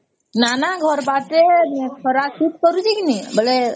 ନ ନ ଘର ବାର କେ ଖରା ଛୁଟି କରୁଛେ କି ନାଇଁ ବୋଲେ